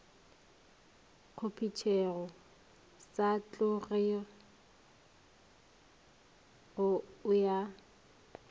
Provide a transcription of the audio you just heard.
kgopetšego sa tlogego ao a